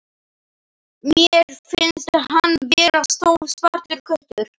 Mér finnst hann vera stór svartur köttur.